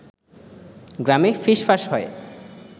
গ্রামে ফিসফাস হয়